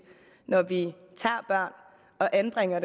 når vi tager og anbringer